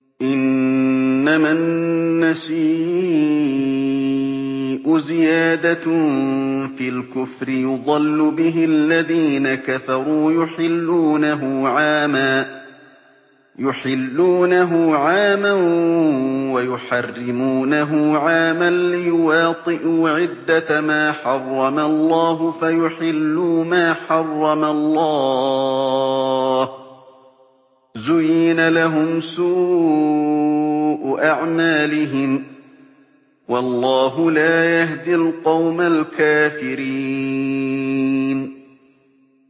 إِنَّمَا النَّسِيءُ زِيَادَةٌ فِي الْكُفْرِ ۖ يُضَلُّ بِهِ الَّذِينَ كَفَرُوا يُحِلُّونَهُ عَامًا وَيُحَرِّمُونَهُ عَامًا لِّيُوَاطِئُوا عِدَّةَ مَا حَرَّمَ اللَّهُ فَيُحِلُّوا مَا حَرَّمَ اللَّهُ ۚ زُيِّنَ لَهُمْ سُوءُ أَعْمَالِهِمْ ۗ وَاللَّهُ لَا يَهْدِي الْقَوْمَ الْكَافِرِينَ